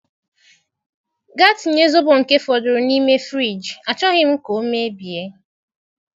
Gaa tinye Zobo nke fọdụrụ n'ime friji, achọghị m ka ọ mebie.